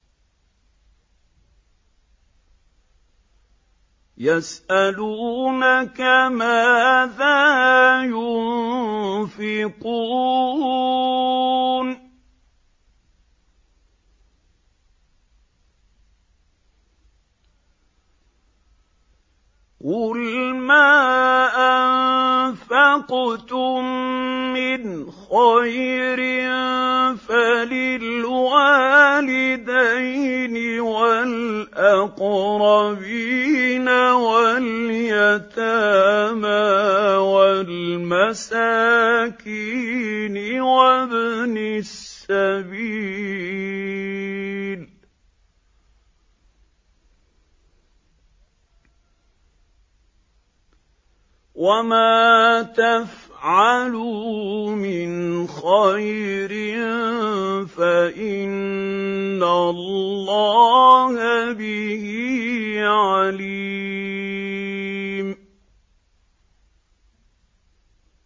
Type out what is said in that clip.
يَسْأَلُونَكَ مَاذَا يُنفِقُونَ ۖ قُلْ مَا أَنفَقْتُم مِّنْ خَيْرٍ فَلِلْوَالِدَيْنِ وَالْأَقْرَبِينَ وَالْيَتَامَىٰ وَالْمَسَاكِينِ وَابْنِ السَّبِيلِ ۗ وَمَا تَفْعَلُوا مِنْ خَيْرٍ فَإِنَّ اللَّهَ بِهِ عَلِيمٌ